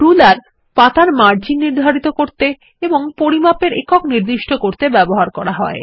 ruler পাতার margin নির্ধারিত করতে এবং পরিমাপের একক নির্দিষ্ট করতে ব্যবহার করা হয়